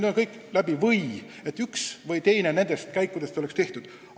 Vähemalt üks nendest käikudest pidi olema selleks ajaks tehtud.